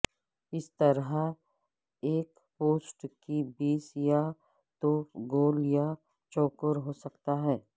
اس طرح ایک پوسٹ کی بیس پر یا تو گول یا چوکور ہو سکتا ہے